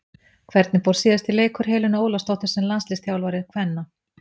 Hvernig fór síðasti leikur Helenu Ólafsdóttur sem landsliðsþjálfari kvenna?